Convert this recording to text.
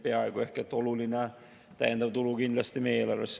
See on kindlasti oluline täiendav tulu meie eelarvesse.